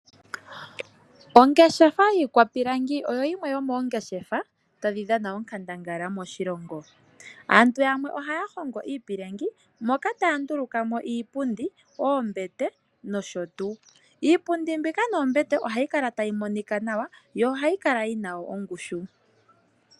Ongeshefa yiikwapilangi oyo yimwe yomoongeshefa tadhi dhana onkandangala moshilongo. Aantu yamwe ohaya hongo iipilangi moka taya ndulukamo iipundi noshowoo oombete. Ohayi kala tayi monika nawa , yo ohayi kala yina ongushu.